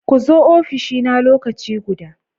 Ku zo ofishina lokaci guda!